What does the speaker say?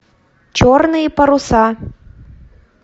черные паруса